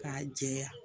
K'a jɛya